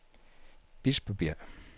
Bispebjerg